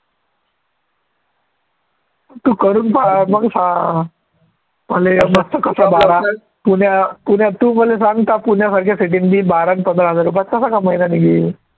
तू करून पाहा मग सांग पुण्या पुण्या तू मले सांग त्या पुण्यासारख्या city त मी बारा आणि पंधरा हजार रुपयात कसा कमवयीन आणि येईन